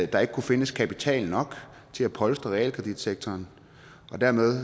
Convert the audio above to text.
der ikke kunne findes kapital nok til at polstre realkreditsektoren og derved